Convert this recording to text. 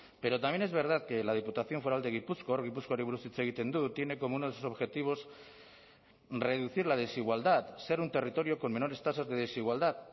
pero también es verdad que la diputación foral de gipuzkoa gipuzkoari buruz hitz egiten dut tiene como uno de sus objetivos reducir la desigualdad ser un territorio con menores tasas de desigualdad